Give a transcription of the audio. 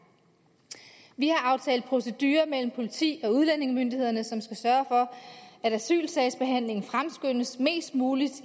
vi har aftalt procedurer mellem politi og udlændingemyndighederne som skal sørge for at asylsagsbehandlingen fremskyndes mest muligt